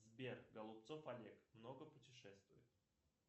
сбер голубцов олег много путешествует